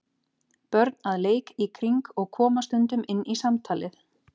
Börn að leik í kring og koma stundum inn í samtalið.